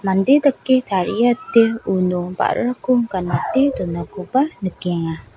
mande dake tariate uno ba·rako ganate donakoba nikenga.